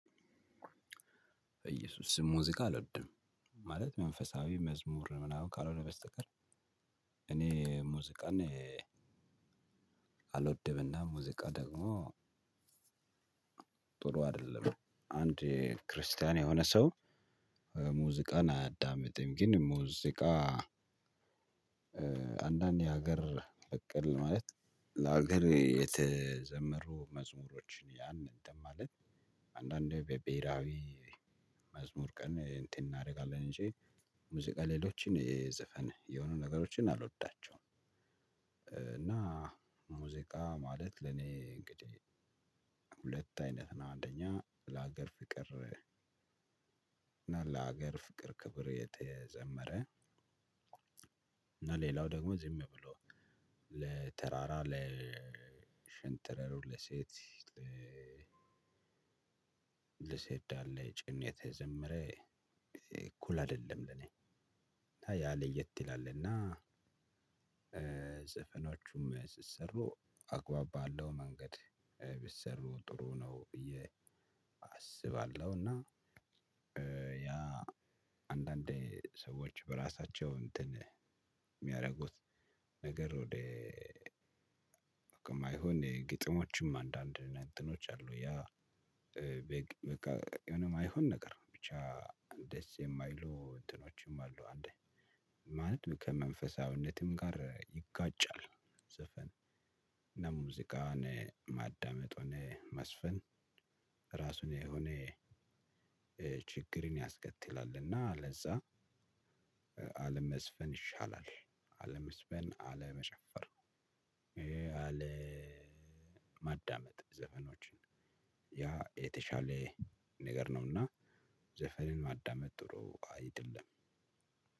በየሱስ ስም ሙዚቃ አልወድም ማለት መንፈሳዊ መዝሙር ምናምን ካልሆነ በስተቀር። እኔ ሙዚቃን። አልወድምና ሙዚቃ ደግሞ ጥሩ አይደለም አንድ ክርስቲያን የሆነ ሰው። ሙዚቃን አያዳምጥም ግን ሙዚቃ። አንዳንድ የሀገር በቅል ማለት ለሀገሬ የተዘመሩ መዝሙሮችን ያን እንትን ማለት አንዳንዴ በብሄራዊ መዝሙር ቀን እንትን እናደርጋለን እንጂ ሙዚቃ ሌሎችን የዘፈን የሆኑ ነገሮችን አልወዳቸውም። እና ሙዚቃ ማለት ለኔ እንግዲህ ሁለት አይነት ነው። አንደኛ ለሀገር ፍቅር እና ለሀገር ፍቅር ክብር የተዘመረ። እና ሌላው ደግሞ ዝም ብሎ ለተራራ ለሽንጥረሩ ለሴት። ለሴት ዳሌ ጭን የተዘምረ እኩል አይደለም ለኔ። ያ ለየት ይላል እና። ዘፈኖቹም ሲሰሩ አግባብ ባለው መንገድ ቢሰሩ ጥሩ ነው ብዬ አስባለሁና። ያ አንዳንዴ ሰዎች በራሳቸው እንትን የሚያደርጉት ነገር ወደ የማይሆን ግጥሞችም አንዳንድ እንትኖች አሉ። ያ በቃ የሆነ የማይሆን ነገር ብቻ ደስ የማይሉ እንትኖችም አሉ። እንደ ማለት ከመንፈሳዊነትም ጋር ይጋጫል። ዘፈን እና ሙዚቃን ማዳመጥ ሆነ መዝፈን ራሱን የሆነ ችግርን ያስከትላልና። ለዛ አለመዝፈን ይሻላል አለመዝፈን አለመጨፈር አለ ማዳመጥ ዘፈኖችን ያ የተሻለ ነገር ነውና። ዘፈንን ማዳመጥ ጥሩ አይደለም።